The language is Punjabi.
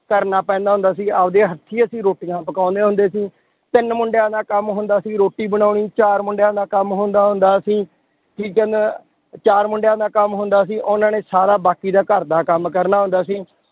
ਕਰਨਾ ਪੈਂਦਾ ਹੁੰਦਾ ਸੀ, ਆਪਦੇ ਹੱਥੀਂ ਅਸੀਂ ਰੋਟੀਆਂ ਪਕਾਉਂਦੇ ਹੁੰਦੇ ਸੀ, ਤਿੰਨ ਮੁੰਡਿਆਂ ਦਾ ਕੰਮ ਹੁੰਦਾ ਸੀ, ਰੋਟੀ ਬਣਾਉਣੀ, ਚਾਰ ਮੁੰਡਿਆਂ ਦਾ ਕੰਮ ਹੁੰਦਾ ਹੁੰਦਾ ਸੀ, ਚਾਰ ਮੁੰਡਿਆਂ ਦਾ ਕੰਮ ਹੁੰਦਾ ਸੀ ਉਹਨਾਂ ਨੇ ਸਾਰਾ ਬਾਕੀ ਦਾ ਘਰਦਾ ਕੰਮ ਕਰਨਾ ਹੁੰਦਾ ਸੀ